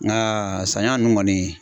Nka saɲɔ ninnu kɔni.